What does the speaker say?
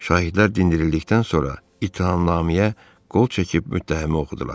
Şahidlər dindirildikdən sonra ittihamnaməyə qol çəkib müttəhimi oxudular.